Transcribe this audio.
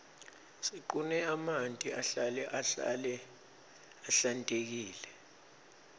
siqune emanti ahlale ahlale ahlantekile